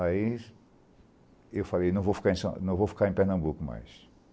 Aí eu falei, não vou ficar em São, não vou ficar em Pernambuco mais.